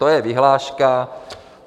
To je vyhláška.